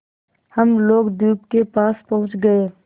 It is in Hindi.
हम लोग द्वीप के पास पहुँच गए